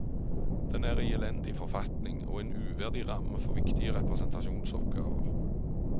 Den er i elendig forfatning, og en uverdig ramme for viktige representasjonsoppgaver.